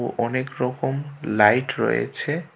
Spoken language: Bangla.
ও অনেকরকম লাইট রয়েছে.